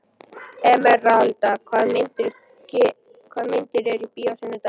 Emeralda, hvaða myndir eru í bíó á sunnudaginn?